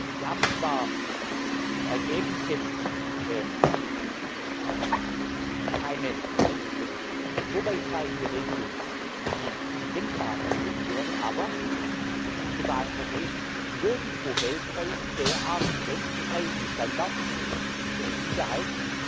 Wir haben zwar im Ergebnis jetzt keine so weit reichende Regelung, wie sie denkbar gewesen wäre, aber im globalen Vergleich gibt es nirgendwo weltweit derart grenzüberschreitende Standards für die Sicherheit